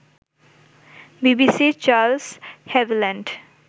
বিবিসির Charles Havilland